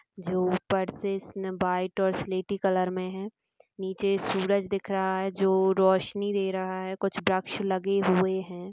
जो ऊपर से इसमें व्हाइट और सिलेटी कलर में है नीचे सूरज दिख रहा है जो रोशनी दे रहा है कुछ वृक्ष लगे हुए है।